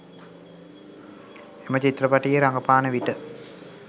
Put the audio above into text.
එම චිත්‍රපටයේ රඟපාන විට